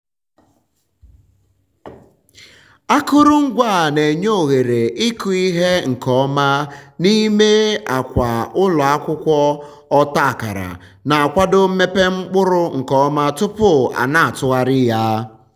akụrụngwa a na-enye ohere ịkụ ihe nke ọma n'ime akwa ụlọ akwụkwọ ọta akara na-akwado mmepe mkpụrụ nke ọma tupu a na-atụgharị ya.